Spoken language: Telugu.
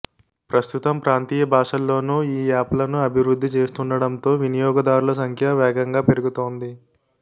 ప్రస్తుతం ప్రాంతీయ భాషల్లోనూ ఈ యాప్లను అభివృద్ధి చేస్తుండటంతో వినియోగదారుల సంఖ్య వేగంగా పెరుగుతోంది